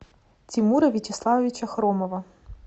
тимура вячеславовича хромова